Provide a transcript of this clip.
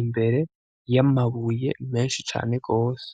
imbere y'amabuye menshi cane gose.